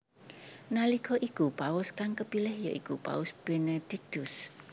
Nalika iku paus kang kepilih ya iku Paus Benediktus